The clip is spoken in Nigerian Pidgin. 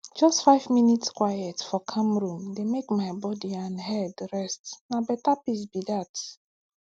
just five minute quiet for calm room dey make my body and head resetna better peace be that